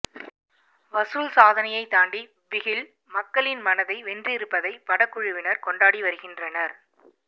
வசூல் சாதனையை தாண்டி பிகில் மக்களின் மனதை வென்றிருப்பதை படக்குழுவினர் கொண்டாடி வருகின்றனர்